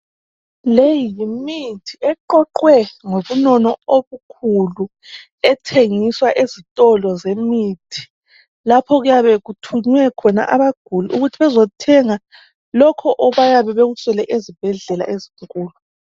Leyi yimithi eqoqwe ngobunono obukhulu ethengiswa ezitolo zemithi lapho okuyabe kuthunywe khona abaguli ukuthi bezothenga lokho abayabe bekuswelr ezibhedlela ezinkulu.